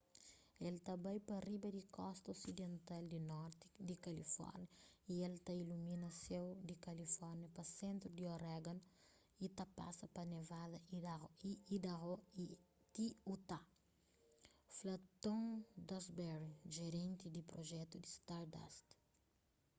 el ta bai pa riba di kosta osidental di norti di kalifórnia y el ta ilumina séu di kalifórnia pa sentru di oregon y ta pasa pa nevada y idaho y ti utah fla tom duxbury jerenti di prujetu di stardust